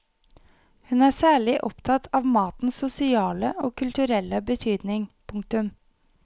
Hun er særlig opptatt av matens sosiale og kulturelle betydning. punktum